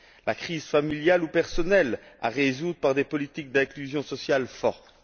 la crise familiale ou personnelle à résoudre par des politiques d'inclusion sociale fortes.